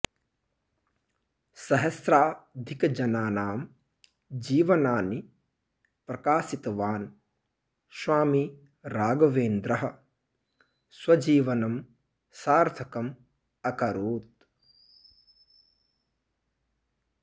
सहस्राधिकजनानां जीवनानि प्रकाशितवान् स्वामी राघवेन्द्रः स्वजीवनं सार्थकम् अकरोत्